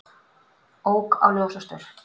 Ók á ljósastaur